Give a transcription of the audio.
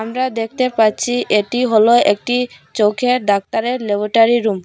আমরা দেখতে পাচ্ছি এটি হলো একটি চোখের ডাক্তারের ল্যাবোটারি রুম।